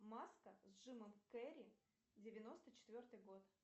маска с джимом керри девяносто четвертый год